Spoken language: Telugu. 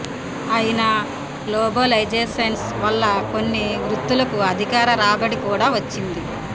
అయినా గ్లోబలైజేషన్ వల్ల కొన్ని వృత్తులకు అధిక రాబడి కూడా వచ్చింది